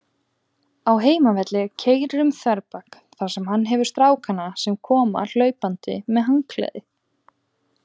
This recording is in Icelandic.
Á heimavelli keyrir um þverbak, þar sem hann hefur stráka sem koma hlaupandi með handklæði.